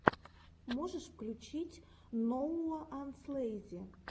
можешь включить ноууанслэйзи